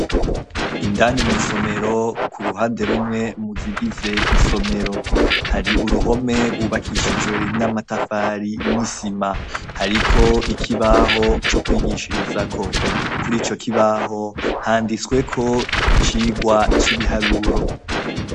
Indani mw'isomero ku ruhande rumwe mu zigize isomero, hari uruhome rwubakishijwe n'amatafari n'isima. Hariko ikibaho co kwigishirizako. Kuri ico kibaho handitsweko icigwa c'ibiharuro.